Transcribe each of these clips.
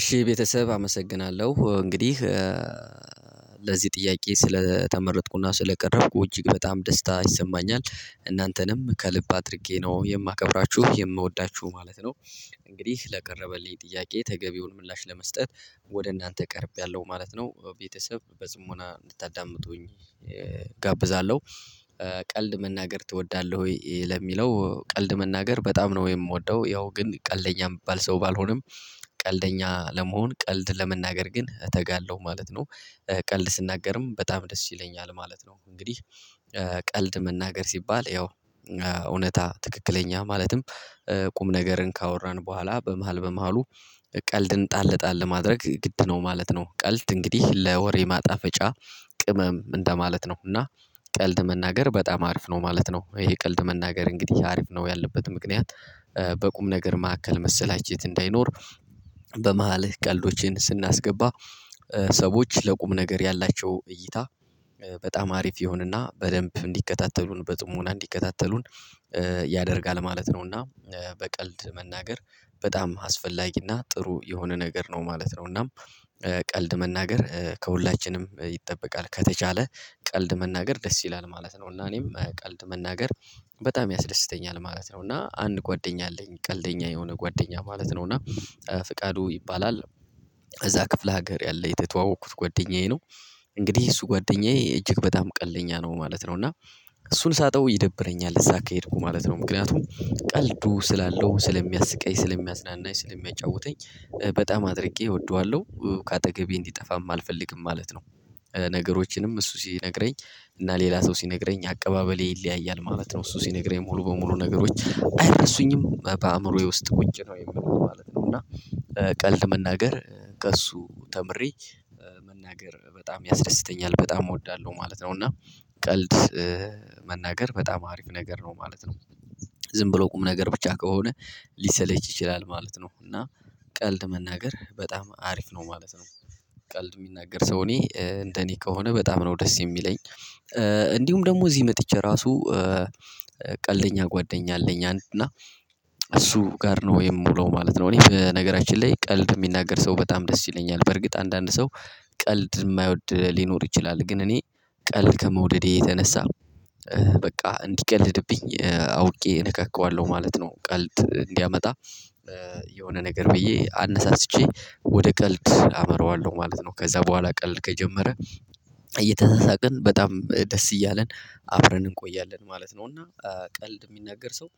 እሺ ቤተሰብ አመሰግናለሁ። እንግዲህ ለዚህ ጥያቄ ስለተመረጥኩና ስለቀረብኩ እጅግ በጣም ደስታ ይሰማኛል። እናንተንም ከልብ አድርጌ ነው የማከብራችሁ፣ የምወዳችሁ ማለት ነው። እንግዲህ ለቀረበልኝ ጥያቄ ተገቢውን ምላሽ ለመስጠት ወደ እናንተ ቀርቤያለሁ ማለት ነው። ቤተሰብ በጽሞና እንድታዳምጡኝ እጋብዛለሁ። ቀልድ መናገር ትወዳለህ ወይ? ለሚለው ቀልድ መናገር በጣም ነው የምወደው። ያው ግን ቀልደኛ ምባል ሰው ባልሆንም ቀልደኛ ለመሆን ቀልድ ለመናገር ግን እተጋለሁ ማለት ነው። ቀልድ ስናገርም በጣም ደስ ይለኛል ማለት ነው። እንግዲህ ቀልድ መናገር ሲባል ያው እውነታ ትክክለኛ ማለትም ቁም ነገርን ካወራን በኋላ በመሃል በመሃሉ ቀልድን ጣል፣ ጣል ማድረግ ግድ ነው ማለት ነው። ቀልድ እንግዲህ ለወሬ ማጣፈጫ ቅመም እንደማለት ነው። እና ቀልድ መናገር በጣም አሪፍ ነው ማለት ነው። ይሄ ቀልድ መናገር እንግዲህ አሪፍ ነው ያልንበት ምክንያት በቁም ነገር ማዕከል መሰላቸት እንዳይኖር በመሃልህ ቀልዶችን ስናስገባ ሰዎች ለቁም ነገር ያላቸው እይታ በጣም አሪፍ ይሆንና በደንብ እንዲከታተሉን፣ በጽሞና እንዲከታተሉን፣ ያደርጋል ማለት ነው። እና በቀልድ መናገር በጣም አስፈላጊና ጥሩ የሆነ ነገር ነው ማለት ነው። እናም ቀልድ መናገር ከሁላችንም ይጠበቃል። ከተቻለ ቀልድ መናገር ደስ ይላል ማለት ነው። እና እኔም ቀልድ መናገር በጣም ያስደስተኛል ማለት ነው። እና አንድ ጓደኛ አለኝ ቀልደኛ የሆነ ጓደኛ ማለት ነው። እና ፍቃዱ ይባላል። እዛ ክፍለ ሀገር ያለ የተተዋወቅኩት ጓደኛዬ ነው። እንግዲህ እሱ ጓደኛዬ እጅግ በጣም ቀልደኛ ነው ማለት ነው። እና እሱን ሳጠው ይደብረኛል እዛ ከሄድኩ ማለት ነው። ምክንያቱም ቀልዱ ስላለው፣ ስለሚያስቀኝ፣ ስለሚያዝናናኝ ስለሚያጫውተኝ በጣም አድርጌ እወደዋለሁ ከአጠገቤ እንዲጠፋም አልፈልግም ማለት ነው። ነገሮችንም እሱ ሲነግረኝ እና ሌላ ሰው ሲነግረኝ አቀባበሌ ይለያያል ማለት ነው። እሱ ሲነግረኝ ሙሉ በሙሉ ነገሮች አይረሱኝም። በአእምሮዬ ውስጥ ቁጭ ነው የሚሉት ማለት ነው። እና ቀልድ መናገር ከእሱ ተምሬ መናገር በጣም ያስደስተኛል። በጣም እወዳለሁ ማለት ነው። እና ቀልድ መናገር በጣም አሪፍ ነገር ነው ማለት ነው። ዝም ብሎ ቁም ነገር ብቻ ከሆነ ሊሰለች ይችላል ማለት ነው። እና ቀልድ መናገር በጣም አሪፍ ነው ማለት ነው። ቀልድ የሚናገር ሰው እኔ እንደኔ ከሆነ በጣም ነው ደስ የሚለኝ። እንዲሁም ደግሞ እዚህ መጥቼ ራሱ ቀልደኛ ጓደኛ አለኝ። እና እሱ ጋር ነው የምውለው ማለት ነው። እኔ በነገራችን ላይ ቀልድ የሚናገር ሰው በጣም ደስ ይለኛል። በርግጥ አንዳንድ ሰው ቀልድ የማይወድ ሊኖር ይችላል። ግን እኔ ቀልድ ከመውደዴ የተነሳ በቃ እንዲቀልድብኝ አውቄ እነካካዋለሁ ማለት ነው። ቀልድ እንዲያመጣ የሆነ ነገር ብዬ አነሳስቼ ወደ ቀልድ አመረዋለሁ ማለት ነው። ከዛ በኋላ ቀልድ ከጀመረ እየተሳሳቅን በጣም ደስ እያለን አብረን እንቆያለን ማለት ነው። እና ቀልድ የሚናገር ሰው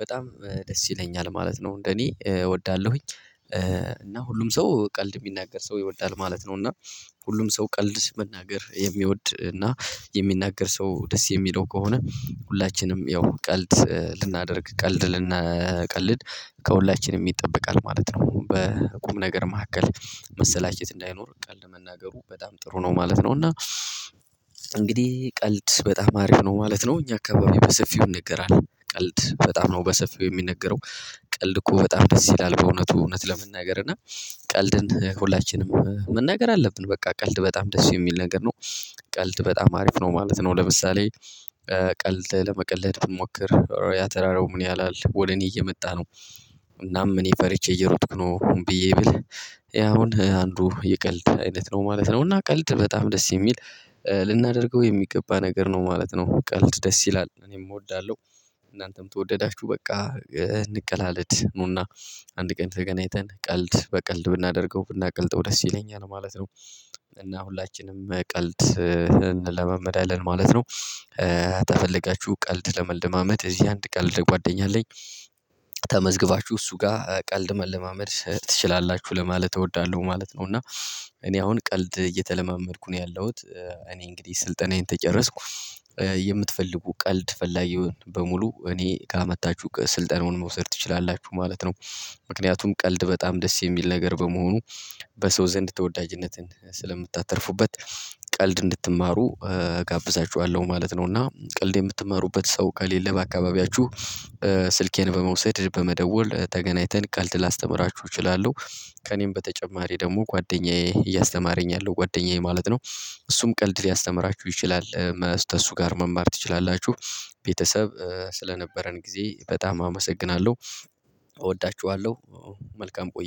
በጣም ደስ ይለኛል ማለት ነው። እንደኔ እወዳለሁኝ። እና ሁሉም ሰው ቀልድ የሚናገር ሰው ይወዳል ማለት ነው። እና ሁሉም ሰው ቀልድ መናገር የሚወድ እና የሚናገር ሰው ደስ የሚለው ከሆነ ሁላችንም ያው ቀልድ ልናደርግ ቀልድ ልንቀልድ ከሁላችንም ይጠበቃል ማለት ነው። በቁም ነገር መካከል መሰላቸት እንዳይኖር ቀልድ መናገሩ በጣም ጥሩ ነው ማለት ነው። እና እንግዲህ ቀልድ በጣም አሪፍ ነው ማለት ነው። እኛ አካባቢ በሰፊው ይነገራል። ቀልድ በጣም ነው በሰፊው የሚነገረው። ቀልድ እኮ በጣም ደስ ይላል። በእውነቱ እውነት ለመናገር። እና ቀልድን ሁላችንም መናገር አለብን። በቃ ቀልድ በጣም ደስ የሚል ነገር ነው። ቀልድ በጣም አሪፍ ነው ማለት ነው። ለምሳሌ ቀልድ ለመቀለድ ብንሞክር ያ ተራራው ምን ያህላል? ወደ እኔ እየመጣ ነው። እናም እኔ ፈርቼ እየሮጥኩ! ነው ብዬ ብልህ ያ አሁን አንዱ የቀልድ አይነት ነው ማለት ነው። እና ቀልድ በጣም ደስ የሚል ልናደርገው የሚገባ ነገር ነው ማለት ነው። ቀልድ ደስ ይላል። እኔም እወዳለሁ፣ እናንተም ተወደዳችሁ በቃ እንቀላለድ። ኑና አንድ ቀን ተገናኝተን ቀልድ በቀልድ ብናደርገው ብናቀልጠው ደስ ይለኛል ማለት ነው። እና ሁላችንም ቀልድ እንለማመዳለን ማለት ነው። ቀልድ ተፈልጋችሁ ቀልድ ለመልደማመድ እዚህ አንድ ቀልድ ጓደኛ አለኝ ተመዝግባችሁ እሱ ጋር ቀልድ መለማመድ ትችላላችሁ ለማለት እወዳለሁ ማለት ነው። እና እኔ አሁን ቀልድ እየተለማመድኩ ነው ያለሁት። እኔ እንግዲህ ስልጠናዬን ተጨረስኩ የምትፈልጉ ቀልድ ፈላጊውን በሙሉ እኔ ጋ መጣችሁ ስልጠናውን መውሰድ ትችላላችሁ ማለት ነው። ምክንያቱም ቀልድ በጣም ደስ የሚል ነገር በመሆኑ በሰው ዘንድ ተወዳጅነትን ስለምታተርፉበት። ቀልድ እንድትማሩ እጋብዛቸዋለሁ ማለት ነው። እና ቀልድ የምትማሩበት ሰው ከሌለ በአካባቢያችሁ ስልኬን በመውሰድ በመደወል ተገናኝተን ቀልድ ላስተምራችሁ እችላለሁ። ከእኔም በተጨማሪ ደግሞ ጓደኛዬ እያስተማረኝ ያለው ጓደኛዬ ማለት ነው። እሱም ቀልድ ሊያስተምራችሁ ይችላል። ተሱ ጋር መማር ትችላላችሁ። ቤተሰብ ስለነበረን ጊዜ በጣም አመሰግናለሁ። እወዳችኋለሁ። መልካም ቆይ